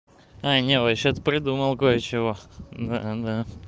не вообще то придумал кое чего да-да